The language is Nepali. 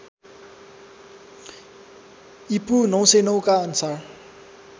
ईपू ९०९ का अनुसार